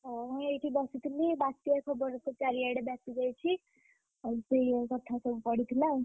ହଁ ମୁଁ ଏଇଠି ବସିଥିଲି ବାତ୍ୟା ଖବରତ ଚାରିଆଡେ ବ୍ୟାପିଯାଇଛି, ଆଉ ସେୟା କଥା ସବୁ ପଡିଥିଲା।